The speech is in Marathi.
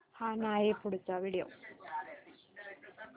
हा नाही पुढचा व्हिडिओ